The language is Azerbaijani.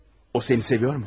O, o səni sevirmi?